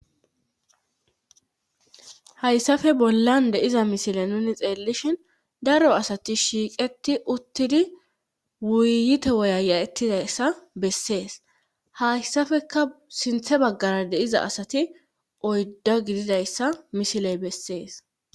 Hayssafe bollan deiza misile nuni xeellishhin daro asati shiiqeti uttidi wuyite woya ya'ettidayssa bessees hayssafeka sinthe baggara deiza asati oyddo gididayssa misiley bessees.